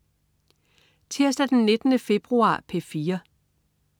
Tirsdag den 19. februar - P4: